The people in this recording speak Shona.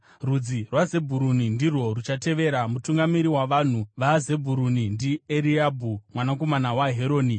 Rudzi rwaZebhuruni ndirwo ruchatevera. Mutungamiri wavanhu vaZebhuruni ndiEriabhi mwanakomana waHeroni.